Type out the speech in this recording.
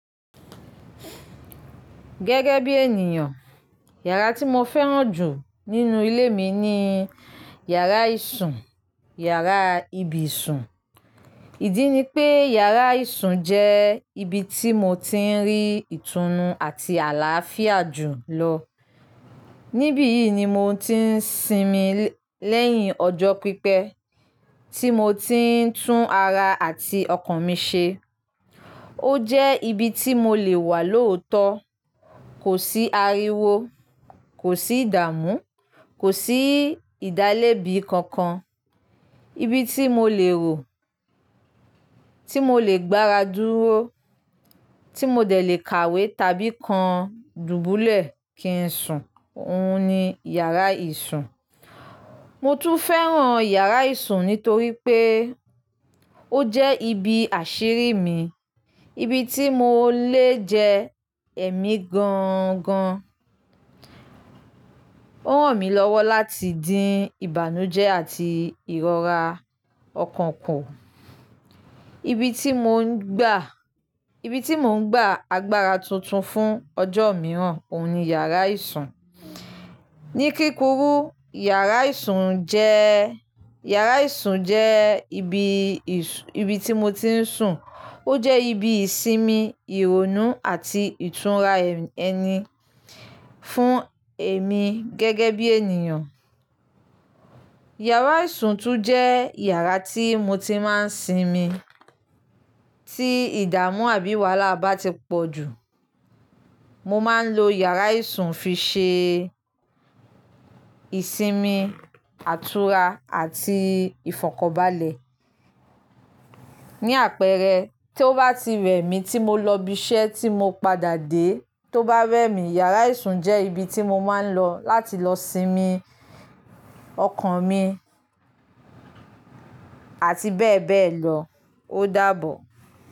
Gẹ́gẹ́ bí ènìyàn, yàrá tí mo fẹ́ràn jù nínú ilé mi ni yàrá ìsùn, yàrá ibi sùn. Ìdí ni pé yàrá ìsùn jẹ́ ibi tí mo ti ń rí ìtùnú àti àlàáfíà jù lọ. Nibi yii ni mo ti ń sinmi lẹ́yìn ọjọ́ pípẹ́, tí mo ti ń tún ara àti ọkàn mi ṣe. Ó jẹ́ ibi tí mo lè wà lóòótọ́, kò sí ariwo, kò sí ìdààmú, kò sí ìdálẹ́bi kankan. Ibi tí mo lè rò, tí mo lè gbáradúró, tí mo dẹ̀ lè kàwé tàbí kan dubulẹ ki n sùn, òun ni yàrá ìsùn. Mo tún fẹ́ràn yàrá ìsùn nítorí pé ó jẹ́ ibi àṣírí mi, ibi tí mo lè jẹ ẹ̀mí gan gan. Ó ràn mí lọ́wọ́ láti dín ìbànújẹ́ àti ìrora ọkàn kù. Ibi tí mò ń gba, ibi tí mò ń gba agbára tuntun fún ọjọ́ mìíràn, òun ni yàrá ìsùn. Ni kíkúrú, yàrá ìsùn jẹ́, yàrá ìsùn jẹ́ ibi ìsùn, ibi tí mo ti ń sùn. Ó jẹ́ ibi ìsinmi, ìrònú àti ìtúnra ẹni fún èmi gẹ́gẹ́ bí ènìyàn. Yàrá ìsùn tún jẹ́ yàrá tí mo ti máa ń sinmi. Tí ìdààmú àbí wàhálà bá ti pọ̀ jù, mo máa ń lo yàrá ìsùn fi ṣe ìsinmi, àtúra àti ìfọ̀kanbalẹ̀. Ni àpẹẹrẹ, tí ó bá ti rẹ̀ mí tí mo lọ ibi iṣẹ́ tí mo padà dé, tí ó bá rẹ̀ mí, yàrá ìsùn jẹ́ ibi tí mo máa ń lọ láti lọ sinmi ọkàn mi àti bẹ́ẹ̀ bẹ́ẹ̀ lọ, ó dàbọ̀.